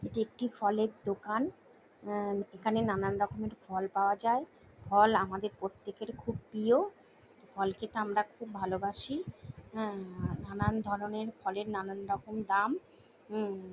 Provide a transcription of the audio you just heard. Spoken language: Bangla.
একটি ফলের দোকান উম এখানে নানানরকমের ফল পাওয়া যায় ফল আমাদের প্রত্যেকের খুব প্রিয় ফল খেতে আমরা খুব ভালোবাসি হুম নানানধরণের ফলের নানানরকমের দাম উম--